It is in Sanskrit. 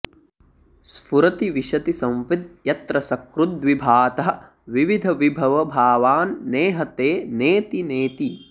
स्फुरति विशति संविद् यत्र सकृद्विभातः विविधविभवभावान् नेहते नेति नेति